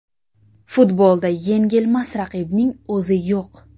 Futbolda yengilmas raqibning o‘zi yo‘q.